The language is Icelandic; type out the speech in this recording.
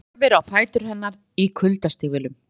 Horfir á fætur hennar í kuldastígvélum.